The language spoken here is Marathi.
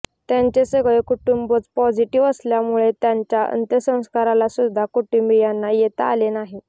त्यांचे सगळे कुटुंबच पॉझिटिव्ह असल्यामुळे त्यांच्या अंत्यसंस्कारालासुद्धा कुटुंबीयांना येता आले नाही